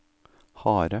harde